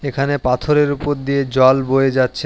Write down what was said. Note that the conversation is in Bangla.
এখানে পাথরের উপর দিয়ে জল বয়ে যাচ্ছে।